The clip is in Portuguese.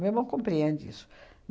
Meu irmão compreende isso.